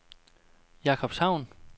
Jakobshavn